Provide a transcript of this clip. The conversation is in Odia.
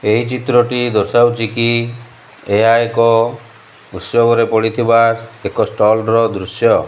ଏହି ଚିତ୍ରଟି ଦର୍ଶାଉଛିକି ଏହା ଏକ ଉତ୍ସବରେ ପଡିଥିବା ଏକ ଷ୍ଟଲ ର ଦୃଶ୍ୟ।